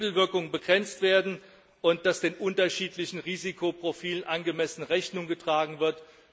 Wir wollen, dass Hebelwirkungen begrenzt werden und dass den unterschiedlichen Risikoprofilen angemessen Rechnung getragen wird.